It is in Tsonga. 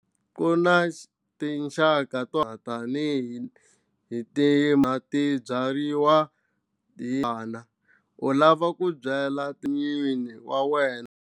Ku na tinxaka to tani hi ti byariwa hi u lava ku byala timanga ta wena.